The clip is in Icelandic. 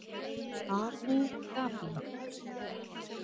Abú Dabí